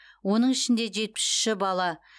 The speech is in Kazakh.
оның ішінде жетпіс үші бала